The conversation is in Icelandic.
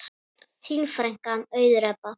Þín frænka, Auður Ebba.